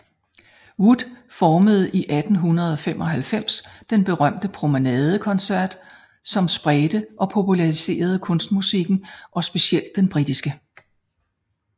Wood formede i 1895 den berømte Promenade Concert som spredte og populariserede kunstmusikken og specielt den britiske